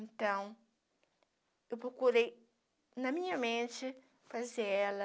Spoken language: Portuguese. Então, eu procurei, na minha mente, fazer ela